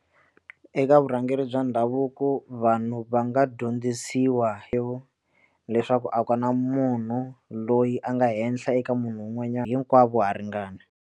Eka vurhangeri bya ndhavuko vanhu va nga dyondzisiwa leswaku a ku na munhu loyi a nga henhla eka munhu un'wanyana hinkwako ha ringana.